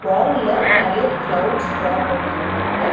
வால்ல நறையா clouds draw பண்ணிருக்காங்க.